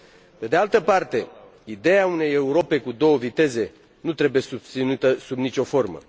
Pe de altă parte, ideea unei Europe cu două viteze nu trebuie susținută sub nicio formă.